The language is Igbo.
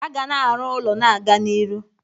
A ga na-aru ụlọ na-aga n'iru.